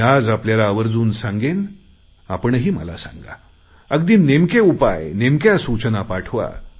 मी आज आपल्याला आवर्जून सांगेन आपणही मला सांगा अगदी नेमके उपाय नेमक्या सूचना पाठवा